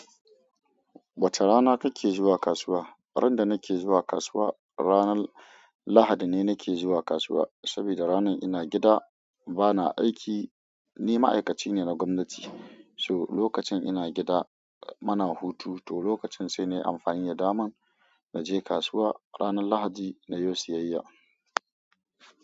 Wace rana kake zuwa kasuwa? Randa nake zuwa kasuwa, ranar Lahadi ne nake zuwa kasuwa, saboda ranan ina gida bana aiki. Ni ma'aikaci ne na gwamnati, so lokacin ina gida muna hutu to lokacin sai nayi amfani damanb na je kasuwa ranar Lahadi na yo siyayya.